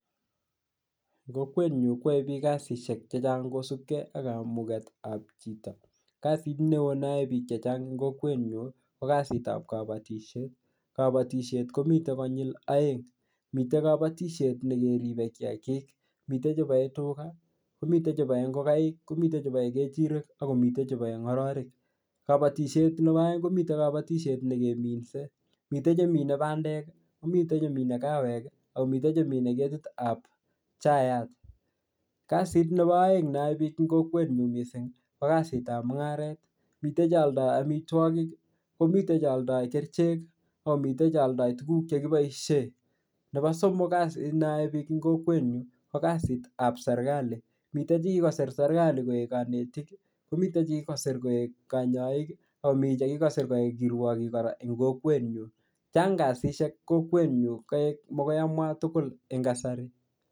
Eng kokwet nyu kwae biik kasisihek chechang' kosubke ak kamuketab chito. Kasit neo neyae biik chechang' eng kokwet nyu, ko kasitab kabatishet. Kabatushet komite konyil aeng. Mitei kabatishet ne keribe kiyagik. Mitei chebae tuga, ko mitei chebae ngogaik, ko mitei chebae kejirek, akomite chebae ngororik. Kabatishet nebo aeng' ko mitei kabatishet ne keminsei. Mitei che mine bandek, ko mitei che mine kawek, ako mitei chemine ketitab chaiyat. Kasit nebo aeng' neyae biiik eng kokwet nyu missing, ko kasitan mung'aret. Mitei che aldoi amitwogik, ko mitei che aldoi kerichek, ako mitei tuguk che aldoi tuguk che kiboisie. Nebo somok, kasit neyae biikab ing kokwet nyu, ko kasitab serikali. Mitei che kikosir serikali koek kanetik, ko mitei che kikosir koek kanyaik, akomii che kikosir koek kanyaik, akomi che kikosir kirwogik eng kokwet nyu. Chang' kasishek kokwet nyu. Kaek magoi amwa tugul eng kasari.